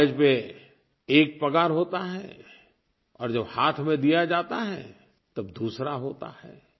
कागज़ पर एक पगार होता है और जब हाथ में दिया जाता है तब दूसरा होता है